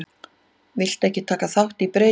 Vildu ekki taka þátt í breytingum